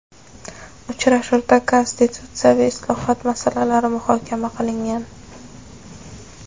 uchrashuvda konstitutsiyaviy islohot masalalari muhokama qilingan.